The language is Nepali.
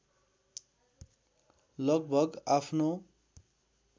लगभग आफ्नो